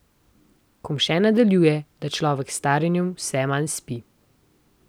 Kumše nadaljuje, da človek s staranjem vse manj spi.